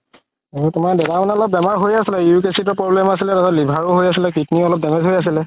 আৰু তুমাৰ দাদা অলপ বেমাৰ হয় আছিলে uric acid ৰ problem আছিলে liver ও হয় আছিলে kidney ও অলপ damage হয় আছিলে